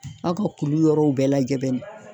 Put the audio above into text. Aw ka kulu yɔrɔw bɛɛ lajɛ bɛnni